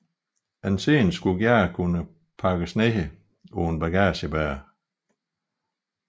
En scene skulle gerne kunne pakkes ned på en bagagebærer